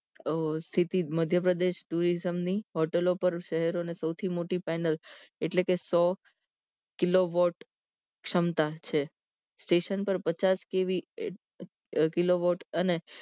આ સ્થિતિ મધ્યપ્રદેશ tourism ની હોટલો પર શેહરો ની સૌથી મોટી પેનલ એટલે કે સો કિલો વોટ ક્ષમતા છે સ્ટેશન પર પચાસ કેવી કિલો વોટ અને